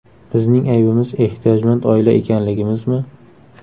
Bizning aybimiz ehtiyojmand oila ekanligimizmi?